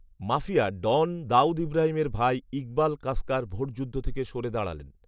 mafia don Dawood ইব্রাহিমের ভাই ইকবাল কাসকার ভোটযুদ্ধ থেকে সরে দাঁড়ালেন